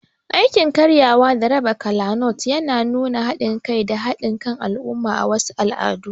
Aikin karyawa da raba kolanut yana nuna haɗin kai da haɗin kan al'umma a wasu al'adu.